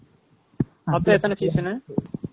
மொத்தம் எத்தன session னு?